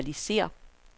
lokalisér